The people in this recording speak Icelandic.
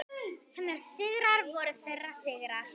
Hennar sigrar voru þeirra sigrar.